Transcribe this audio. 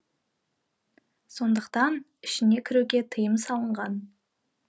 сондықтан ішіне кіруге тыйым салынған